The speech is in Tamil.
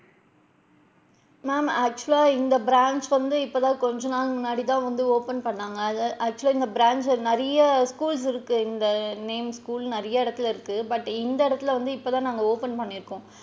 Ma'am actual லா இந்த branch வந்து இப்ப தான் கொஞ்ச நாள் முன்னாடி தான் வந்து open பண்ணுனாங்க actual லா இந்த branch ல நிறைய schools இருக்கு இந்த name school நிறைய இடத்துல இருக்கு but இந்த இடத்துல வந்து இப்ப தான் நாங்க open பண்ணி இருக்கோம்.